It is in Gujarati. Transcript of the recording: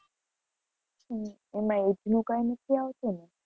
હમ એમાં age નું કઈ નથી આવતું ને?